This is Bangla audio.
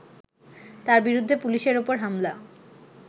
তার বিরুদ্ধে পুলিশের ওপর হামলা